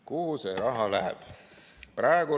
Kuhu see raha läheb?